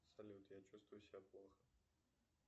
салют я чувствую себя плохо